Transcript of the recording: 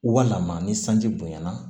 Walima ni sanji bonya na